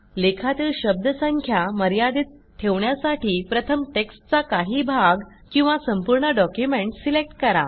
लेखातील शब्दसंख्या मर्यादित ठेवण्यासाठी प्रथम टेक्स्टचा काही भाग किंवा संपूर्ण डॉक्युमेंट सिलेक्ट करा